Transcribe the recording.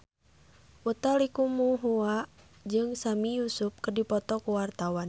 Utha Likumahua jeung Sami Yusuf keur dipoto ku wartawan